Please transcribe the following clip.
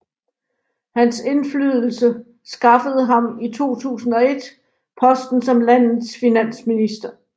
Hans indflydelse skaffede ham i 2001 posten som landets finansminister